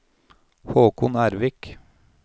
Håkon Ervik